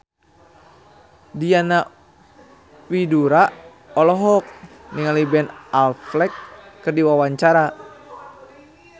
Diana Widoera olohok ningali Ben Affleck keur diwawancara